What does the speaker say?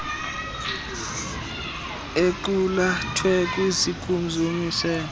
equlathwe kwizikimu zomiselo